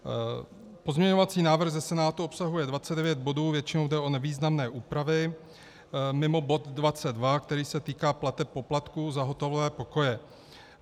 Pozměňovací návrh ze Senátu obsahuje 29 bodů, většinou jde o nevýznamné úpravy mimo bod 22, který se týká plateb poplatků za hotelové pokoje.